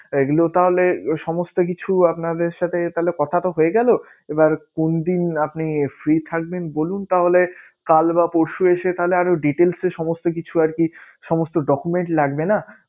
এগুলো তাহলে সমস্ত কিছু আপনাদের সাথে তাহলে কথা তো হয়ে গেলো। এবার কোনদিন আপনি free থাকবেন বলুন তাহলে কাল বা পরশু এসে তাহলে আরো details এ সমস্ত কিছু আরকি সমস্ত document লাগবে না